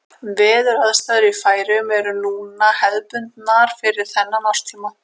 Veðuraðstæður í Færeyjum eru núna hefðbundnar fyrir þennan árstíma.